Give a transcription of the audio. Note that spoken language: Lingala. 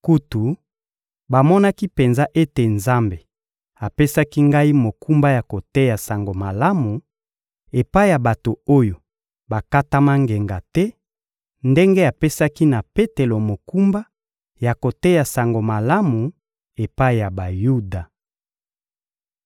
Kutu, bamonaki penza ete Nzambe apesaki ngai mokumba ya koteya Sango Malamu epai ya bato oyo bakatama ngenga te, ndenge apesaki na Petelo mokumba ya koteya Sango Malamu epai ya Bayuda.